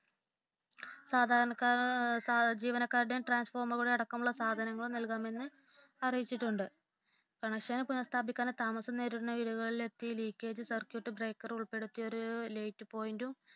സാധരണ ജീവനക്കാരുടെയും ട്രാൻഫോർമറുകളുടെയും അടക്കമുള്ള സാധനങ്ങൾ നൽകാമെന്ന് അറിയിച്ചിട്ടുണ്ട് കണക്ഷൻ പുനഃസ്ഥാപിക്കാൻ താമസിക്കുന്ന വീടുകളിലെത്തി leakage circuit break late point